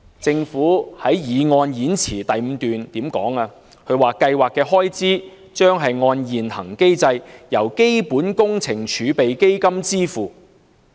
政府在動議擬議決議案的演辭第五段說："計劃的開支將按現行機制由基本工程儲備基金支付。